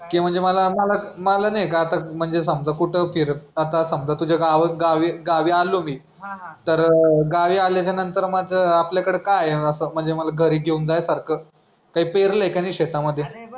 की म्हणजे मला मला नाही का आता म्हणजे समजा कुठं फिरत आता समजा तुझ्या गाव गावी गावी आलो मी तर गावी आल्याच्यानंतर माझं आपल्याकडे काय आहे असं म्हणजे मला घरी घेऊन जाण्यासारखं काय पेरलय की नाही शेतामध्ये.